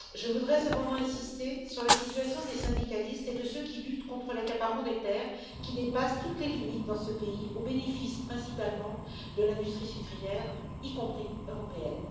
Je voudrais cependant insister sur la situation des syndicalistes et de ceux qui luttent contre l'accaparement des terres, qui dépasse toutes les limites dans ce pays, au bénéfice principalement de l'industrie sucrière, y compris européenne.